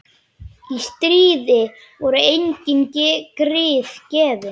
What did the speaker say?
Í stríði voru engin grið gefin.